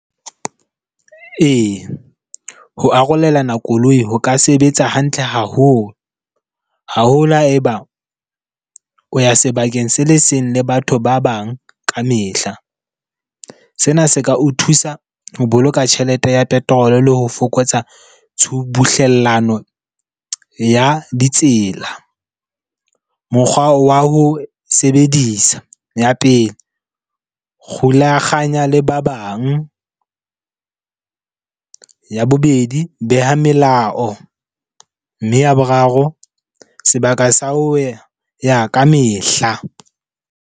Ee, ho arolelana koloi ho ka sebetsa hantle haholo. Haholo ha eba o ya sebakeng se le seng le batho ba bang ka mehla. Sena se ka o thusa ho boloka tjhelete ya petrol le ho fokotsa tshubuhlellano ya ditsela. Mokgwa wa ho sebedisa, ya pele, kgulakganya le ba bang. Ya bobedi, beha melao. Mme ya boraro, sebaka sa ho ya ya ka mehla.